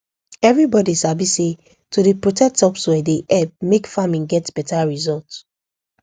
everybody sabi say to dey protect topsoil dey help make farming get beta result